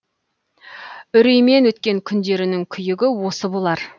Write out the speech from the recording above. үреймен өткен күндерінің күйігі осы болар